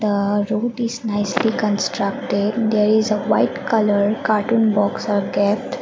the road is nicely constructed there is a white colour carton box are kept.